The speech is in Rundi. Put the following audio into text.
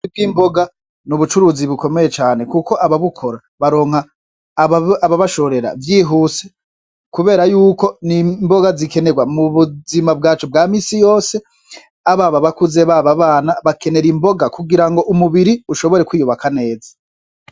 Ubucuruzi bw'imboga n'ubucuruzi bukomeye cane kuko ababukora baronka ababashorera vyihuse kubera yuko n'imboga zikenerwa mu buzima bwacu bwa minsi yose, ab'abakuze ,ab'abana bakener'imboga kugira ngo umubiri ushobore kwiyubaka neza.